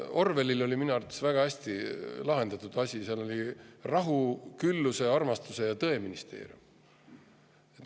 Orwellil oli minu arvates väga hästi lahendatud asi, seal oli rahu-, külluse-, armastuse- ja tõeministeerium.